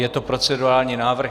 Je to procedurální návrh.